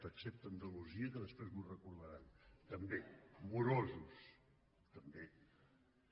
ex·cepte andalusia que després m’ho recordaran també morosos també